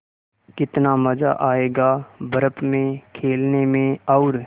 कितना मज़ा आयेगा बर्फ़ में खेलने में और